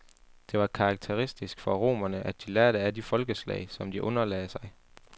Det var karakteristisk for romerne, at de lærte af de folkeslag, som de underlagde sig.